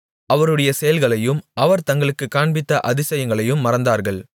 அவருடைய செயல்களையும் அவர் தங்களுக்குக் காண்பித்த அதிசயங்களையும் மறந்தார்கள்